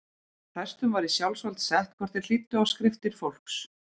Prestum var í sjálfsvald sett hvort þeir hlýddu á skriftir fólks.